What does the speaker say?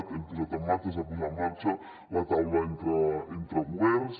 hem posat en marxa es va posar en marxa la taula entre governs